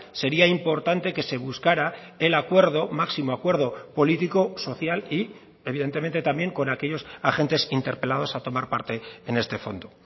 sería importante que se buscará el acuerdo máximo acuerdo político social y evidentemente también con aquellos agentes interpelados a tomar parte en este fondo